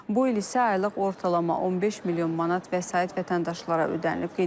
Bu il isə aylıq ortalama 15 milyon manat vəsait vətəndaşlara ödənilib.